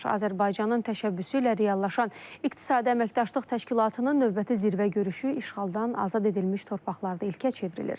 Azərbaycanın təşəbbüsü ilə reallaşan İqtisadi Əməkdaşlıq Təşkilatının növbəti zirvə görüşü işğaldan azad edilmiş torpaqlarda ilkə çevrilir.